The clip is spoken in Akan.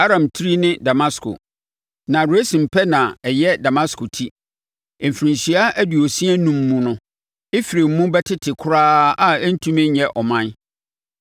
Aram tiri ne Damasko, na Resin pɛ na ɛyɛ Damasko ti. Mfirinhyia aduosia enum mu no Efraim mu bɛtete koraa a ɛrentumi nnyɛ ɔman.